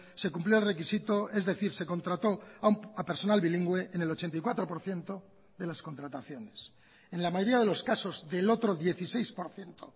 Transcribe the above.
se cumplió el requisito es decir se contrató a personal bilingüe en el ochenta y cuatro por ciento de las contrataciones en la mayoría de los casos del otro dieciséis por ciento